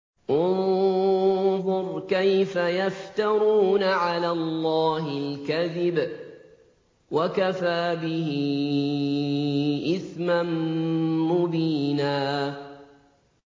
انظُرْ كَيْفَ يَفْتَرُونَ عَلَى اللَّهِ الْكَذِبَ ۖ وَكَفَىٰ بِهِ إِثْمًا مُّبِينًا